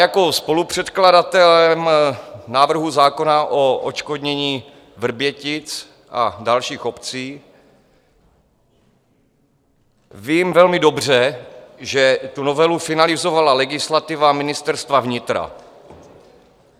Jako spolupředkladatel návrhu zákona o odškodnění Vrbětic a dalších obcí vím velmi dobře, že tu novelu finalizovala legislativa Ministerstva vnitra.